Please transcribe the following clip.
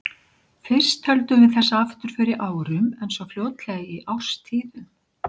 Fyrst töldum við þessa afturför í árum, en svo fljótlega í árstíðum.